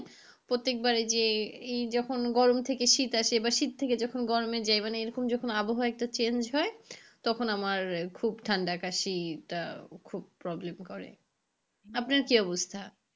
প্রত্যেকবার যে এই যে এই যখন গরম থেকে শীত আসে বা শীত থেকে যখন গরম এ যাই মানে এই রকম যখন আবহাওয়া change হয় তখন আমার খুব ঠান্ডা কাশিটা খুব problem করে আপনার কি অবস্থা,